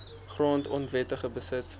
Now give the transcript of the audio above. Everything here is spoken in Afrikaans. grond onwettig beset